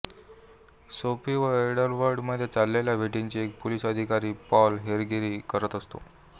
Sophie व एड्वर्डमध्ये चाललेल्या भेटींची एक पोलिस अधिकारी पॉल हेरगीरी करत असतो